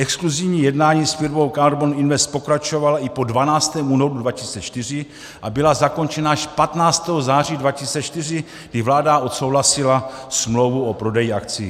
Exkluzivní jednání s firmou KARBON INVEST pokračovala i po 12. únoru 2004 a byla zakončena až 15. září 2004, kdy vláda odsouhlasila smlouvu o prodeji akcií.